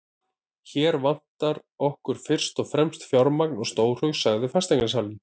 Hér vantar okkur fyrst og fremst fjármagn og stórhug, sagði fasteignasalinn.